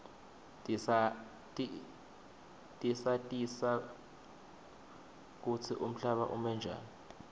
tisatisa kutsi umhlaba ume njani